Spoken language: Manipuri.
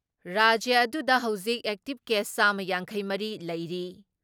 ꯔꯥꯖ꯭ꯌ ꯑꯗꯨꯗ ꯍꯧꯖꯤꯛ ꯑꯦꯛꯇꯤꯞ ꯀꯦꯁ ꯆꯥꯝꯃ ꯌꯥꯡꯈꯩ ꯃꯔꯤ ꯂꯩꯔꯤ ꯫